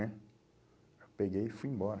Né? Eu peguei e fui embora.